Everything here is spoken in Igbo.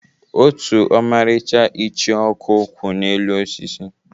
Otu ọmarịcha ichioku kwụ n'elu osisi.